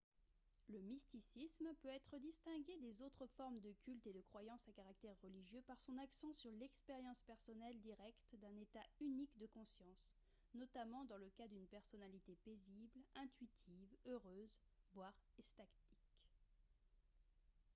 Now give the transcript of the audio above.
le mysticisme peut être distingué des autres formes de culte et de croyance à caractère religieux par son accent sur l'expérience personnelle directe d'un état unique de conscience notamment dans le cas d'une personnalité paisible intuitive heureuse voire extatique